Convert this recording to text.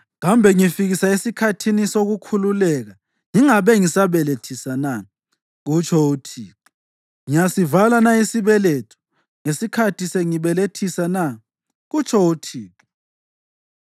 Kambe ngifikisa esikhathini sokukhululeka ngingabe ngisabelethisa na?” kutsho uThixo. “Ngiyasivala na isibeletho ngesikhathi sengibelethisa na?” kutsho uThixo